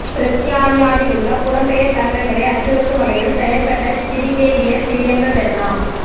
பிரித்தானியாவிலுள்ள புலம்பெயர் தமிழர்களை அச்சுறுத்தும் வகையில் செயற்பட்ட பிரிகேடியர் பிரியங்க பெர்ணா